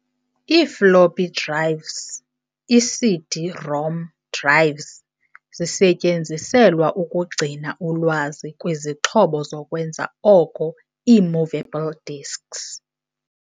I-Floppy drives, i-CD-ROM drives zisetyenziselwa ukugcina ulwazi kwii-zixhobo zokwenza oko ii-emovable disks.